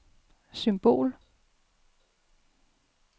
symbol